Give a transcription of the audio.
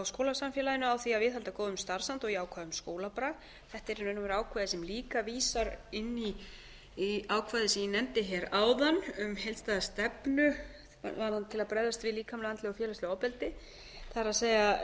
skólasamfélaginu á því að viðhalda góðum starfsanda og jákvæðum skólabrag þetta er í raun og veru ákvæði sem líka vísar inn í ákvæðið sem ég nefndi hér áðan um heildstæða stefnu til að bregðast við líkamlegu andlegu og félagslegu ofbeldi það